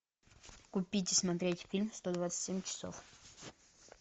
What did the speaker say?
купить и смотреть фильм сто двадцать семь часов